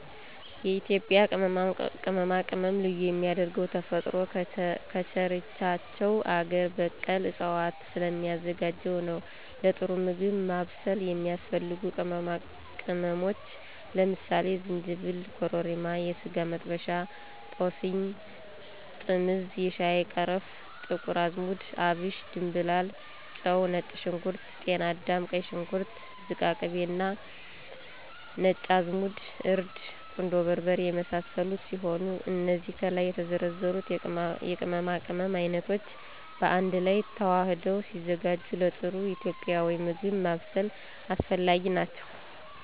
የኢትዩጱያ ቅመማቅመም ልዩ የሚያደርገው ተፈጥሮ ከቸረቻቸው አገር በቀል እፅዋቶች ስለሚዘጋጅ ነው ለጥሩ ምግብ ማብሰል የሚያስፈልጉ ቅመሞች ለምሳሌ፦ ዝንጂብል፣ ኮረሪማ፣ የስጋመጥበሻ፣ ጦስኝ፣ ጥምዝ፣ የሻይቀረፋ፣ ጥቁርአዝሙድ፣ አብሽ፣ ድምብላል፣ ጨው፣ ነጭሽንኩርት፣ ጢናዳም፣ ቀይሽንኩርት፣ ዝቃቅቤ፣ ነጭአዝሙድ፣ እርድ፣ ቁንዶበርበሬ የመሳሰሉት ሲሆኑ እነዚ ከላይ የተዘረዘሩት የቅመማቅመም አይነቶች ባአንድላይ ተዋህደው ሲዘጋጁ ለጥሩ ኢትዩጵያዊ ምግብ ማብሰል አስፈላጊ ናቸው።